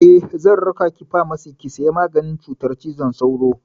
Eh, zan raka ki famasi ki saya maganin cutar cizon sauro.